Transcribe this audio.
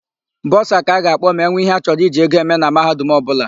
Bọsa ka a ga-akpọ ma enwe íhé a chọrọ iji ego eme na mahadum ọbụla.